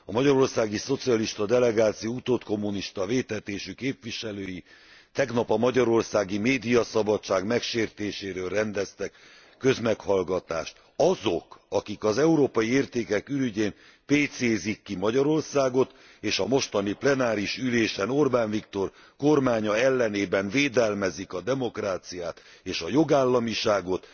A magyarországi szocialista delegáció utódkommunista vétetésű képviselői tegnap a magyarországi médiaszabadság megsértéséről rendeztek közmeghallgatást. Azok, akik az európai értékek ürügyén pécézik ki Magyarországot, és a mostani plenáris ülésen Orbán Viktor ellenében védelmezik a demokráciát és a jogállamiságot,